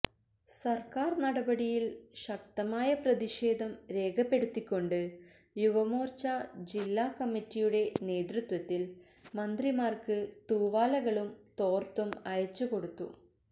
സര്ക്കാര് നടപടിയില് ശക്തമായ പ്രതിഷേധം രേഖപ്പെടുത്തിക്കൊണ്ട് യുവമോര്ച്ച ജില്ലാ കമ്മറ്റിയുടെ നേതൃത്വത്തില് മന്ത്രിമാര്ക്ക് തൂവാലകളും തോര്ത്തും അയച്ച് കൊടുത്തു